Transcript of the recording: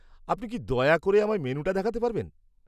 আপনি কি দয়া করে আমায় মেনুটা দেখাতে পারবেন?